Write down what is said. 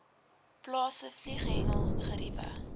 plase vlieghengel geriewe